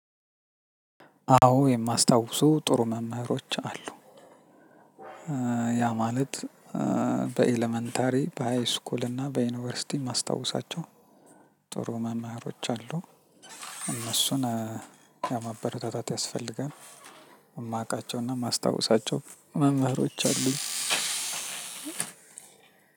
አዎ የማስታውሱ ጥሩ መምህሮች አሉ። ያ ማለት በኤለመንተሪ በሃይስኩል እና በዩኒቨርሲቲ ማስታወሳቸው ጥሩ መማሮች አሉ። እነሱን የማበረታታት ያስፈልጋል። የማውቃቸውና የማስታውሳቸው መምህሮች አሉ።